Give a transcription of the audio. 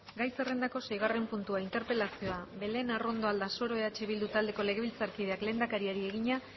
gai zerrendako seigarren puntua interpelazioa belén arrondo aldasoro eh bildu taldeko legebiltzarkideak lehendakariari egina